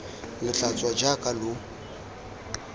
lo tla tswa jaaka lo